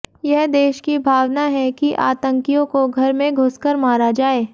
यह देश की भावना है कि आतंकियों को घर में घूस कर मारा जाये